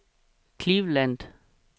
Cleveland